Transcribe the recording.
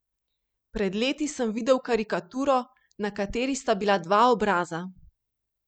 Pred leti sem videl karikaturo, na kateri sta bila dva obraza.